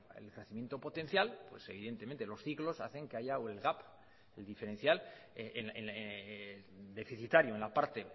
el crecimiento potencial evidentemente los ciclos hacen que haya diferencial deficitario en la parte